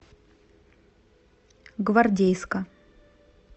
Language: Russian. гвардейска